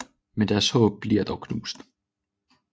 Men deres håb bliver dog knust